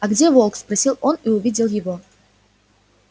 а где волк спросил он и увидел его